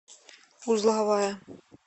узловая